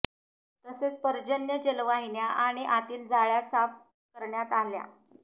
तसेच पर्जन्य जलवाहिन्या आणि आतील जाळ्या साफ करण्यात आल्या